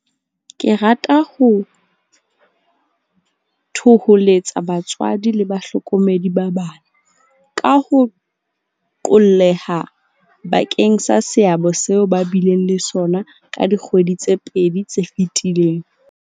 Ke rata ho thoholetsa batswadi le bahlokomedi ba bana, ka ho qolleha, bakeng sa seabo seo ba bileng le sona ka dikgwedi tse pedi tse fetileng.